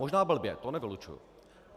Možná blbě, to nevylučuji.